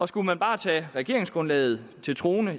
skulle man bare tage regeringsgrundlaget til troende